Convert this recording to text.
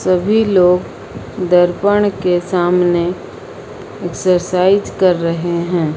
सभी लोग दर्पण के सामने एक्सरसाइज कर रहे हैं।